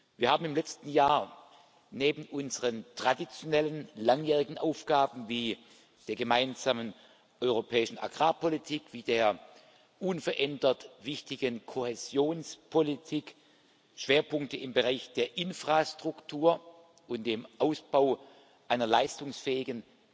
Wir haben im letzten Jahr neben unseren traditionellen langjährigen Aufgaben wie der gemeinsamen europäischen Agrarpolitik, wie der unverändert wichtigen Kohäsionspolitik Schwerpunkte im Bereich der Infrastruktur und dem Ausbau einer leistungsfähigen